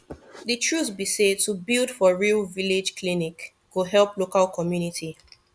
de truth be say to build for real village clinic go help local community